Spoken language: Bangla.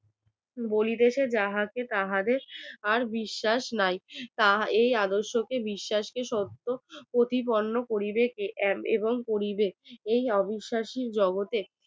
বলিতেছে যাহাতে তাহাদের আর বিশ্বাস নাই এই আদর্শকে বিশ্বাসকে প্রতিবর্ণ করিবে কি এক এবং পরিবেশ এই অবিশ্বাসি জগতের